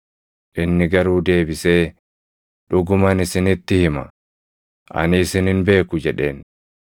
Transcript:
“Inni garuu deebisee, ‘Dhuguman isinitti hima; ani isin hin beeku’ jedheen.